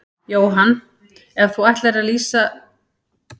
Jóhann: Ef þú ættir að lýsa þessum degi með einu orði, hvaða orð væri það?